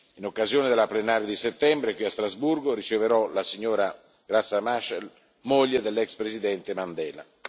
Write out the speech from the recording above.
In occasione della plenaria di settembre qui a Strasburgo, riceverò la signora Graça Machel, moglie dell'ex Presidente Mandela.